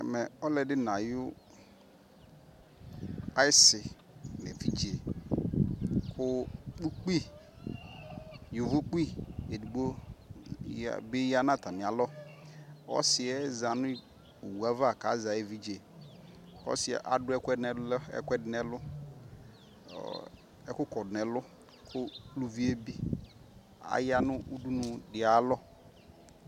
Ɛmɛ ɔlɔ di na yi si nɛ vidze Ku ukpi yovo kpi ɛdigbo bi ya na ta mi alɔƆsi yɛ za nɔ wu ava ka zɛ ɛvidzeƆsi yɛ adu ɛkuɛ di nɛ luɔ ɛku kɔdu nɛ luKu ulu vi yɛ bi aya nu dunu di aya lɔ